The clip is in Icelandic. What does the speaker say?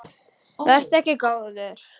Vertu ekki góður.